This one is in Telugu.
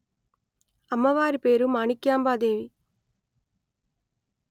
అమ్మవారి పేరు మాణిక్యాంబా దేవి